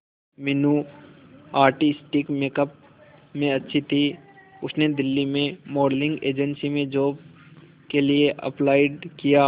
Meenu artistic makeup में अच्छी थी उसने दिल्ली में मॉडलिंग एजेंसी में जॉब के लिए अप्लाई किया